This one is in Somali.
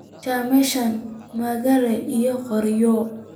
Shemsha maraage iyo qoryo